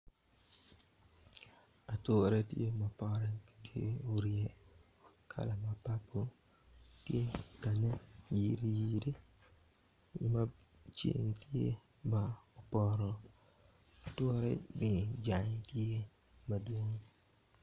Ature tye ma pote tye orye kala ma papul tye bene iyiriyiri ma ceng tye ma poto atureni jange tye madwong.